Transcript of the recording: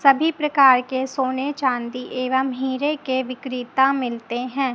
सभी प्रकार के सोने चांदी एवं हीरे के विक्रेता मिलते हैं।